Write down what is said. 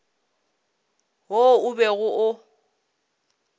wo o bego o o